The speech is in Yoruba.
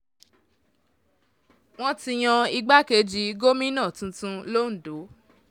wọ́n ti yan igbákejì gómìnà tuntun londo